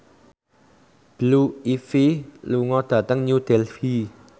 Blue Ivy lunga dhateng New Delhi